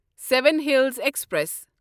seven Hills express